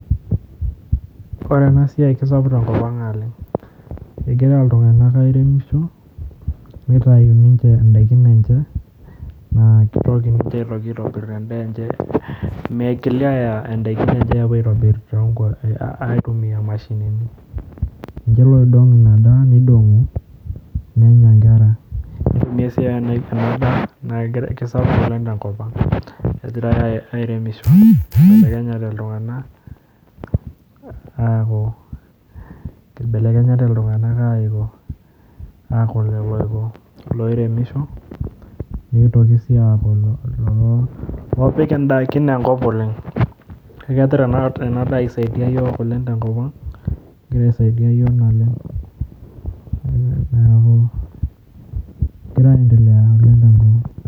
Ore ena siai kesapuk tenkop naleng' egiira iltung'anak airemisho nitayu ninche indaikin enye naa kitoki ninche aitobirr endaa enye migili aaya indaikin enye aapuo aitobirr aitumiaa imashinini ninche loidong'u ina daa nidong'u nenya nkera ore sii ena daa naa kesapuk oleng' tenkop ang' egirai airemisho kibelekenyate iltung'anak aiko aaku lelo oiko iloiremisho nitoki sii aaku iloo opik indaikin enkop oleng' kegira ena daa aisaidia iyiook tenkop ang' kegira aisaidia iyiook naleng' neeku egira aiendelea oleng' tenkop ang'.